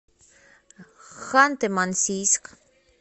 ханты мансийск